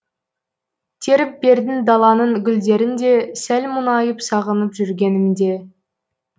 теріп бердің даланың гүлдерін де сәл мұңайып сағынып жүргенімде